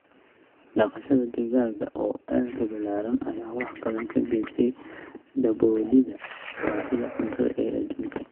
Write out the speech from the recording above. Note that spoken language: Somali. Dhaqashada digaagga oo aad u ballaaran ayaa wax badan ka geysatay daboolidda baahida cuntada ee adduunka.